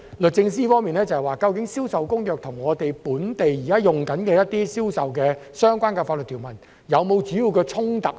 律政司方面表示，究竟《銷售公約》與我們本地現行一些與銷售相關的法律條文是否有主要的衝突？